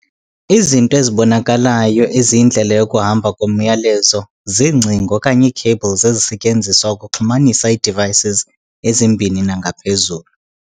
Izinto ezibonakalayo eziyindlela yokuhamba komyalezo- ziingcingo okanye ii-cables ezisetyenziswa ukuxhumanisa ii-devices ezimbini nangaphezulu.